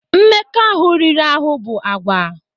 Mmekọahụ riri ahụ bụ àgwà